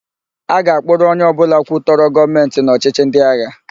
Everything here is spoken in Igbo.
A ga-akpụrụ onye ọbụla kwutọrọ Gọọmentị n' ọchịchị ndịagha.